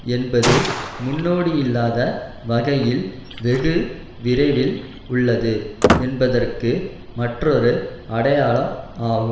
என்பது முன்னோடியில்லாத வகையில் வெகு விரைவில் உள்ளது என்பதற்கு மற்றொரு அடையாளம் ஆகும்